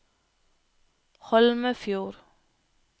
Holmefjord